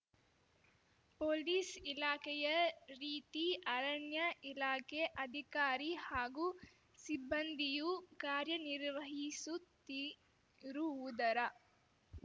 police ಇಲಾಖೆಯ ರೀತಿ ಅರಣ್ಯ ಇಲಾಖೆ ಅಧಿಕಾರಿ ಹಾಗೂ ಸಿಬ್ಬಂದಿಯೂ ಕಾರ್ಯನಿರ್ವಹಿಸುತ್ತಿರುವುದರ